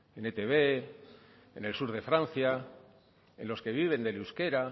en etb en el sur de francia en los que viven del euskera